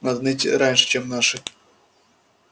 надо найти раньше чем наши